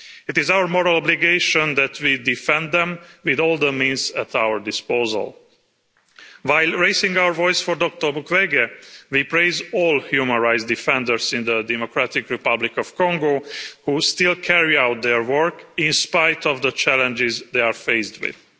It is our moral obligation that we defend them with all the means at our disposal. While raising our voice for Dr Mukwege, we praise all human rights defenders in the Democratic Republic of Congo who still carry out their work in spite of the challenges they are faced with.